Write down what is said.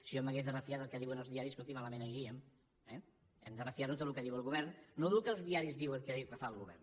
si jo m’hagués de refiar del que diuen els diaris escolti malament aniríem eh ens hem de refiar tots del que diu el govern no del que els diaris diuen que diu que fa el govern